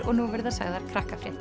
og nú verða sagðar